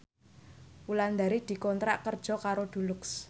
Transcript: Wulandari dikontrak kerja karo Dulux